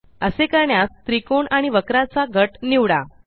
असे करण्यास त्रिकोण आणि वक्राचा गट निवडा